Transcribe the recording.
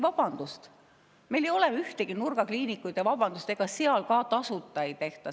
Vabandust, meil ei ole ühtegi nurgakliinikut, ja ega seal ka tasuta ei tehta.